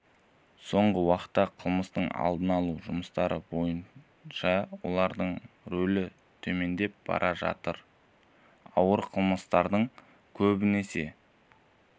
соңғы уақытта қылмыстың алдын алу жұмыстары бойынша олардың рөлі төмендеп бара жатыр ауыр қылмыстардың көбінесе